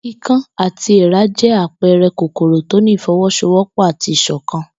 Ikán àti èèrà jẹ́ àpẹẹrẹ kòkòrò tó ní ìfọwọ́sowọ́pọ̀ àti ìṣọ̀kan